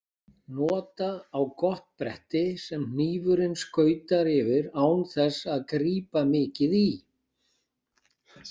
Nota á gott bretti sem hnífurinn skautar yfir án þess að grípa mikið í.